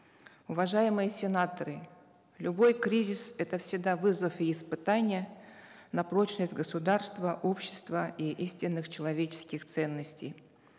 уважаемые сенаторы любой кризис это всегда вызов и испытание на прочность государства общества и истинных человеческих ценностей